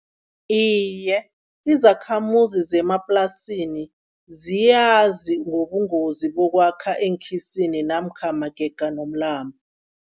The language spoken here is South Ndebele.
Iye, izakhamuzi zemaplasini ziyazi ngobungozi bokwakha eenkhisini namkha magega nomlambo.